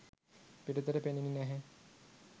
පිටතට පෙනෙන්නේ නෑහෑ